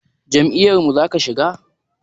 Jam'iyar mu zaka shiga?